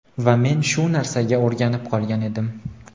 va men shu narsaga o‘rganib qolgan edim.